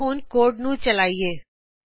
ਆਓ ਹੁਣ ਕੋਡ ਨੂੰ ਰਨ ਕਰੀਏ